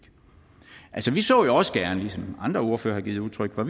er altså vi så jo også gerne som andre ordførere har givet udtryk for